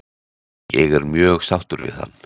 Ég er mjög sáttur við hann?